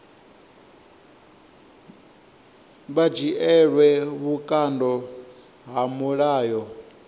vha dzhielwe vhukando ha mulayo